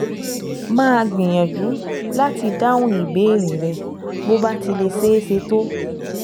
Màá gbìyànjú láti dáhùn ìbéèrè rẹ bó bá ti lè ṣeé ṣe tó